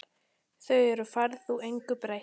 Þar um færð þú engu breytt.